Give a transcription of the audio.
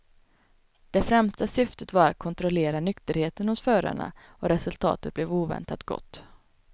Det främsta syftet var att kontrollera nykterheten hos förarna och resultatet blev oväntat gott.